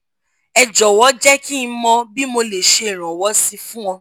ẹ jọ̀wọ́ jẹ́ kí n mọ̀ bí mo lè ṣe iranwọ́ sí i fún ọ